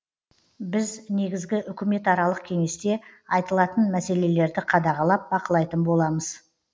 біз негізгі үкіметаралық кеңесте айтылатын мәселелерді қадағалап бақылайтын боламыз